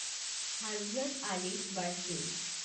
Hazrat Ali's birthday